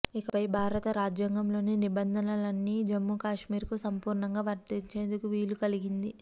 ఇకపై భారత రాజ్యాంగంలోని నిబంధనలన్నీ జమ్మూ కశ్మీర్కు సంపూర్ణంగా వర్తించేందుకు వీలు కలిగింది